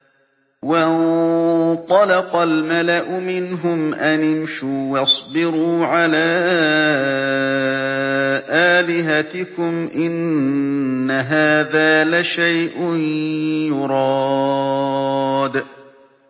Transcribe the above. وَانطَلَقَ الْمَلَأُ مِنْهُمْ أَنِ امْشُوا وَاصْبِرُوا عَلَىٰ آلِهَتِكُمْ ۖ إِنَّ هَٰذَا لَشَيْءٌ يُرَادُ